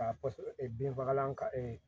Ka pase bin fagalan kan